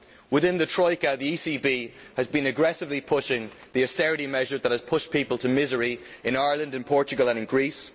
Within the Troika, the ECB has been aggressively pushing the austerity measures that have pushed people to misery in Ireland, Portugal and Greece.